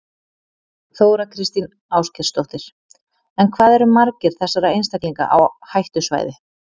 Þóra Kristín Ásgeirsdóttir: En hvað eru margir þessara einstaklinga á hættusvæði?